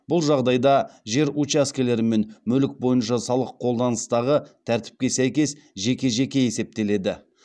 бұл жағдайда жер учаскелері мен мүлік бойынша салық қолданыстағы тәртіпке сәйкес жеке жеке есептеледі